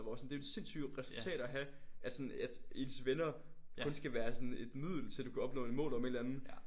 Hvor at sådan det er jo et sindssygt resultat at have at sådan at ens venner kun skal være sådan et middel til du kan opnå et mål om en eller anden